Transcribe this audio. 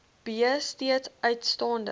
b steeds uitstaande